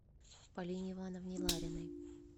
полине ивановне лариной